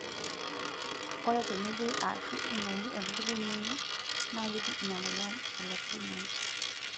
Ore tenejei aashu emoyu olepirnyiny, naa keji ina emoyian olepirnyiny.